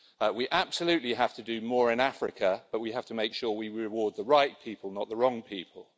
We absolutely have to do more in Africa, but we have to make sure we reward the right people, not the wrong people.